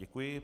Děkuji.